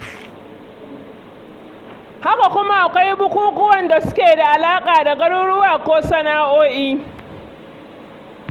Haka kuma akwai bukukuwan da suke da alaƙa da garuruwa ko sana'o'i.